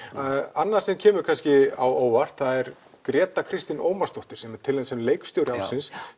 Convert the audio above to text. annað sem kemur kannski á óvart það er Gréta Kristín Ómarsdóttir sem er tilnefnd sem leikstjóri ársins